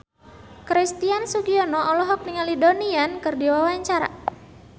Christian Sugiono olohok ningali Donnie Yan keur diwawancara